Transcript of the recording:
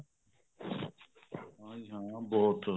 ਹਾਂਜੀ ਹਾਂ ਉਹ ਬਹੁਤ